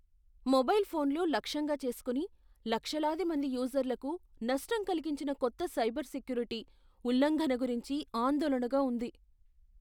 Mobile ఫోన్లు లక్ష్యంగా చేసుకుని, లక్షలాది మంది యూజర్లకు నష్టం కలిగించిన కొత్త సైబర్ సెక్యూరిటీ ఉల్లంఘన గురించి ఆందోళనగా ఉంది.